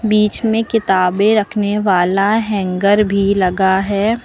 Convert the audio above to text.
बीच में किताबें रखने वाला हैंगर भी लगा है।